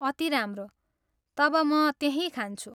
अति राम्रो! तब म त्यही खान्छु।